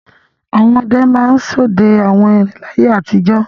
Àwọn ọdẹ máa ń ṣọdẹ àwọn erin láyé àtijọ́.